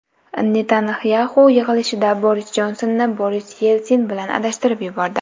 Netanyaxu yig‘ilishda Boris Jonsonni Boris Yelsin bilan adashtirib yubordi.